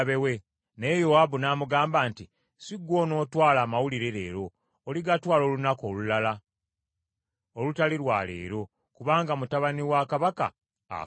Naye Yowaabu n’amugamba nti, “Si ggwe onootwala amawulire leero. Oligatwala olunaku olulala olutali lwa leero, kubanga mutabani wa kabaka afudde.”